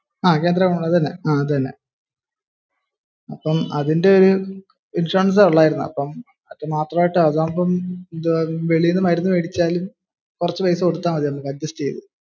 അതിപ്പം അതിന്റെ ഒരു ഇൻഷുറൻസെ ഉള്ളായിരുന്നു. അതാവുമ്പോ വെളിയിൽ നിന്ന് മരുന്ന് മേടിച്ചാൽ കുറച്ച പൈസ കൊടുത്താൽ മതിയല്ലോ.